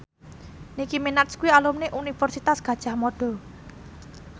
Nicky Minaj kuwi alumni Universitas Gadjah Mada